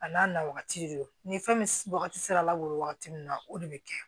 A n'a na wagati de don ni fɛn wagati sera la labɔ wagati min na o de bɛ kɛ